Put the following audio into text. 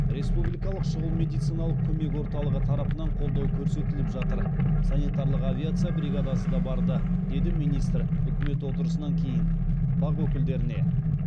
республикалық шұғыл медициналық көмек орталығы тарапынан қолдау көрсетіліп жатыр санитарлық авиация бригадасы да барды деді министр үкімет отырысынан кейін бақ өкілдеріне